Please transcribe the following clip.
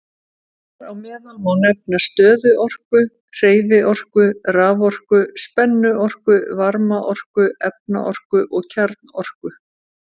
Þar á meðal má nefna stöðuorku, hreyfiorku, raforku, spennuorku, varmaorku, efnaorku og kjarnorku.